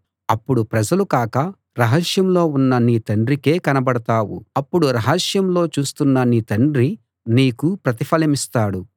అప్పుడు ప్రజలకు కాక రహస్యంలో ఉన్న నీ తండ్రికే కనబడతావు అప్పుడు రహస్యంలో చూస్తున్న నీ తండ్రి నీకు ప్రతిఫలమిస్తాడు